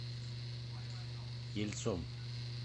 ельцом